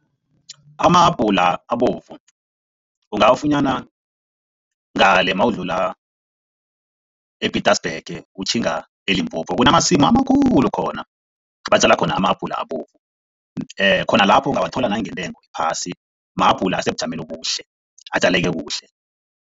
Amahabhula abovu ungawafunyana ngale mawudlula e-Pietersburg utjhinga eLimpopo. Kunamasimu amakhulu khona, abatjala khona ama-apula abovu khona lapho ungawathola nangentengo ephasi, mahabhula asebujameni obuhle, atjaleke kuhle.